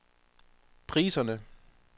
priserne